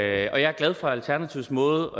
det og jeg er glad for alternativets måde